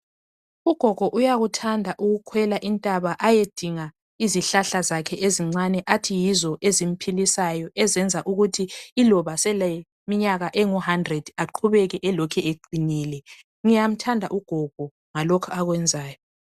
Ugogo uyakuthanda ukukhwela intaba ayedinga izihlahla zakhe ezincane athiyizo ezimphilisayo ezenza ukuthi iloba seleminyaka engu 100 aqhubeke elokhe eqinile .Ngiyamthanda ugogo ngalokhu akwenzayo .